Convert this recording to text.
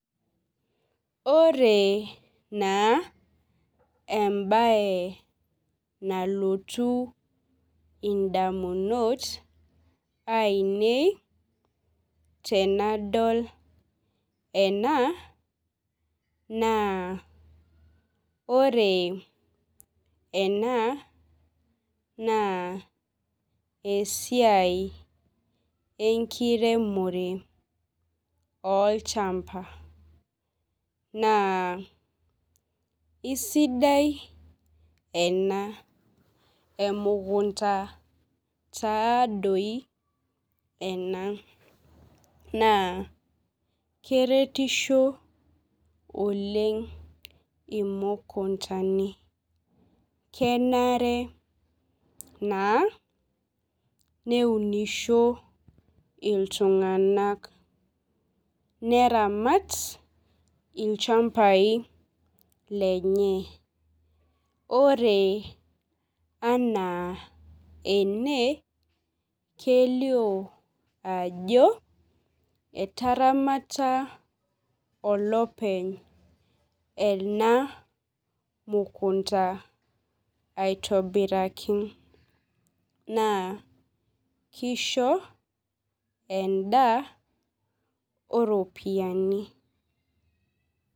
Ore na embae nalotu ndamunot ainei tanadol ena na ore ena na esiai enkiremore olchamba na isidai ena emukunda taatoi ena naa keretisho oleng imukundani kenare na neunisho iltunganak neramat lchambai lenye ore anaa ene kelio ajo etaramata olopeny enamukunda aitobiraki na kisho endaa oropiyiani.